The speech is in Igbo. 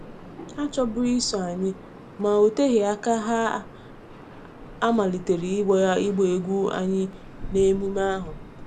Ha achọbughị iso anyị, ma ọ oteghi aka ha a malite ịgba ịgba egwú anyị n’emume ahụ.